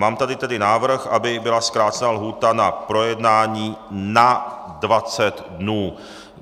Mám tady tedy návrh, aby byla zkrácena lhůta na projednání na 20 dnů.